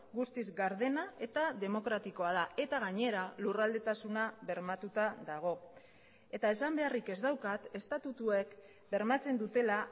guztiz gardena eta demokratikoa da eta gainera lurraldetasuna bermatuta dago eta esan beharrik ez daukat estatutuek bermatzen dutela